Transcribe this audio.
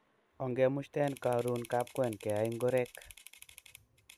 Ongemushten karun kapkwen keyai ngorek